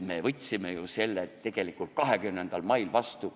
Me võtsime ju selle tegelikult 20. mail vastu.